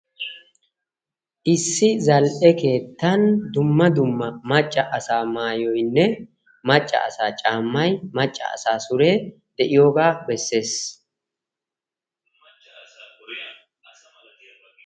Issi zal'e keettan dumma dumma macca asaa maayoyinne maccaa asaa caamay maccaa asaa suree de'iyoga beesses.